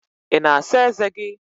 Ị na-asa ezé gị?